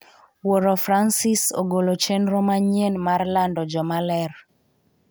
Wuoro Francis ogolo chenro manyien mar lando jomaler